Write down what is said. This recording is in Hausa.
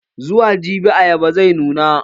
Zuwa jibi ayaban zai nuna.